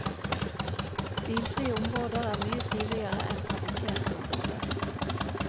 Bilfrie områder er mye triveligere enn trafikkerte områder.